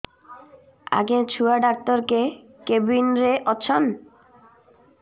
ଆଜ୍ଞା ଛୁଆ ଡାକ୍ତର କେ କେବିନ୍ ରେ ଅଛନ୍